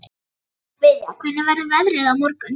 Viðja, hvernig verður veðrið á morgun?